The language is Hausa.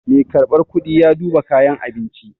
Mai karɓar kuɗi ya duba kayan abinci.